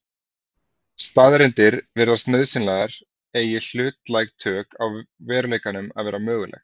staðreyndir virðast nauðsynlegar eigi hlutlæg tök á veruleikanum að vera möguleg